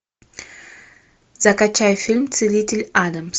закачай фильм целитель адамс